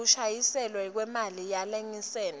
sekubuyiselwa kwemali yelayisensi